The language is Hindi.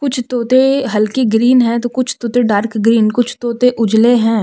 कुछ तोते हल्की ग्रीन है तो कुछ तोते डार्क ग्रीन कुछ तोते उजले हैं।